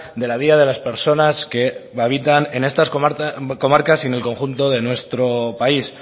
de la vida de las personas que habitan en estas comarcas y en el conjunto de nuestro país